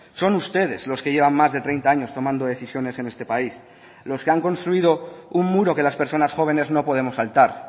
son ustedes los que llevan más de treinta años tomando decisiones en este país los que han construido un muro que las personas jóvenes no podemos saltar